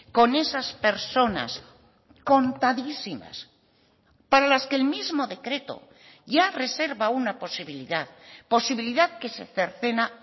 con esas personas contadísimas para las que el mismo decreto ya reserva una posibilidad posibilidad que se cercena